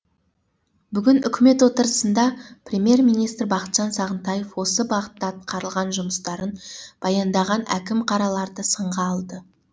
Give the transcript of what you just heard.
бүгін үкімет отырысында премьер министр бақытжан сағынтаев осы бағытта атқарылған жұмыстарын баяндаған әкім қараларды сынға алды